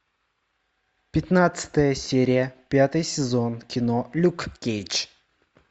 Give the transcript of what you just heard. пятнадцатая серия пятый сезон кино люк кейдж